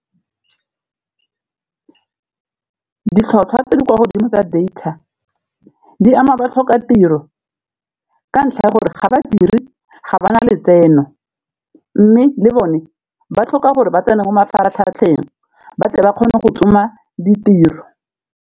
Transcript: Ditlhotlhwa tse di kwa godimo tsa data di ama ba tlhoka tiro ka ntlha ya gore ga badiri ga ba na letseno, mme le bone ba tlhoka gore ba tsene mo mafaratlhatlheng ba tle ba kgone go tsoma ditiro.